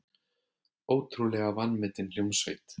Ótrúlega vanmetin hljómsveit.